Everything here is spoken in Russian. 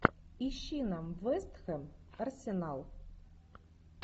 ищи нам вест хэм арсенал